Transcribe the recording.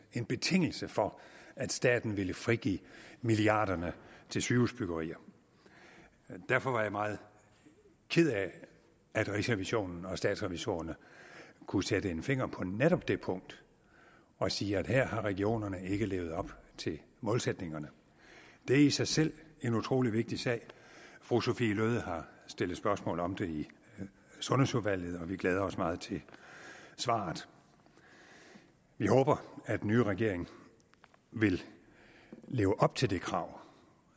en betingelse for at staten ville frigive milliarderne til sygehusbyggeri derfor var jeg meget ked af at rigsrevisionen og statsrevisorerne kunne sætte en finger på netop det punkt og sige at her havde regionerne ikke levet op til målsætningerne det er i sig selv en utrolig vigtig sag fru sophie løhde har stillet spørgsmål om det i sundhedsudvalget og vi glæder os meget til svaret vi håber at den nye regering vil leve op til det krav